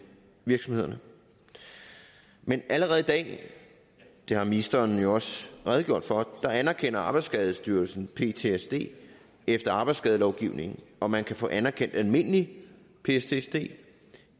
virksomhederne men allerede i dag det har ministeren jo også redegjort for anerkender arbejdsskadestyrelsen ptsd efter arbejdsskadelovgivningen og man kan få anerkendt almindelig ptsd